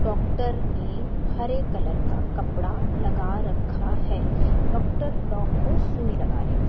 doctor ने हेयर हरे का कपड़ा लगा रखा है डॉक्टर डॉग को सुई लगा रहे--